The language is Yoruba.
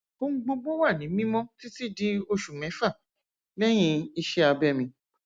ohun gbogbo wà ní mímọ títí di oṣù mẹfà lẹyìn iṣé abẹ mi